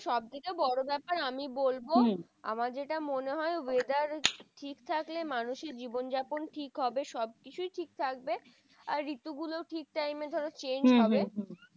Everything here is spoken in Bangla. সব থেকে বড় ব্যাপার আমি বলবো, আমার যেটা মনে হয় weather ঠিক থাকলে মানুষের জীবন যাপন ঠিক হবে সব কিছুই ঠিক থাকবে। আর ঋতু গুলো ঠিক time এ ধরো change হবে।